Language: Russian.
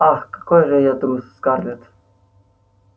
ах какой же я трус скарлетт